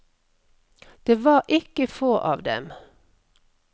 Det var ikke få av dem.